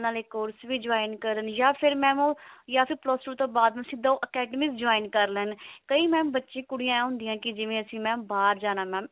ਨਾਲੇ course ਵੀ join ਕਰਨ ਯਾ ਫਿਰ mam ਉਹ plus two ਤੋਂ ਬਾਅਦ ਸਿਧਾ ਉਹ academic join ਕਰ ਲੈਣ ਕਈ mam ਬੱਚੇ ਕੁੜੀਆਂ ਇਹ ਹੁੰਦੀਆਂ ਕਿ ਅਸੀਂ mam ਬਾਹਰ ਜਾਣਾ mam